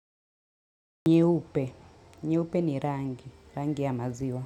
Nyeupe, nyeupe ni rangi, rangi ya maziwa.